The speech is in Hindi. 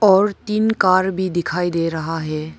और तीन कार भी दिखाई दे रहा है।